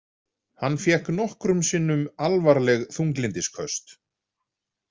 Hann fékk nokkrum sinnum alvarleg þunglyndisköst.